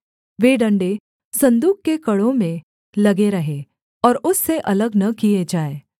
वे डण्डे सन्दूक के कड़ों में लगे रहें और उससे अलग न किए जाएँ